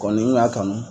Kɔni n y'a kanu